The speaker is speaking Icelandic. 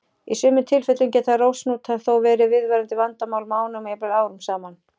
Í sumum tilfellum geta rósahnútar þó verið viðvarandi vandamál mánuðum og jafnvel árum saman.